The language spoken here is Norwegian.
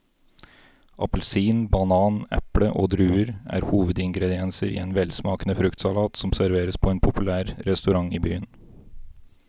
Appelsin, banan, eple og druer er hovedingredienser i en velsmakende fruktsalat som serveres på en populær restaurant i byen.